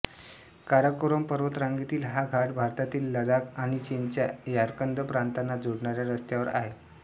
काराकोरम पर्वतरांगेतील हा घाट भारतातील लदाख आणि चीनच्या यारकंद प्रांतांना जोडणाऱ्या रस्त्यावर आहे